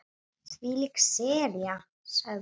Þvílík sería sagði hún.